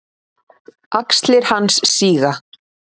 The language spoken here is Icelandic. Axlir hans síga.